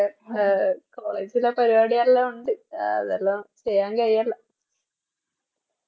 College ലെ പരിപാടിയെല്ലോ ഉണ്ട് ആഹ് അതെല്ലാം പോവാൻ കയ്യല്ല